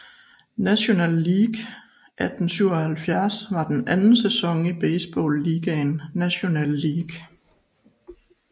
National League 1877 var den anden sæson i baseballligaen National League